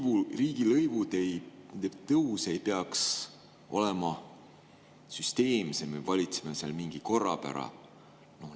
Kas riigilõivude tõus ei peaks olema süsteemsem ja ka seal ei peaks valitsema mingi korrapära?